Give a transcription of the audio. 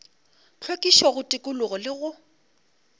hlwekišo go tikologo le go